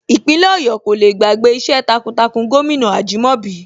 Ìpínlẹ̀ Ọ̀yọ́ kò le gbàgbé iṣẹ́ takuntakun gómìnà Ajìmọ́bi